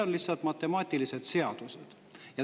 On lihtsalt matemaatilised seadused.